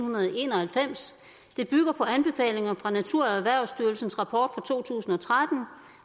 en og halvfems det bygger på anbefalinger fra naturerhvervsstyrelsens rapport fra to tusind og tretten